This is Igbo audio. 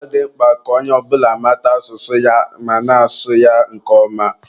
Ọ dị mkpa ka onye ọ bụla mata asụsụ ya ma na-asụ ya nke ọma